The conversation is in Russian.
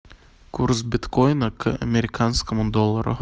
курс биткоина к американскому доллару